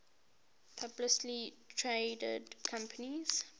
publicly traded companies